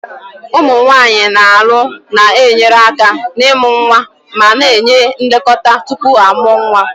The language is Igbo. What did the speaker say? Ụmụ nwanyị na-alụ na-enyere aka n'ịmụ nwa ma na-enye nlekọta tupu a mụọ nwa.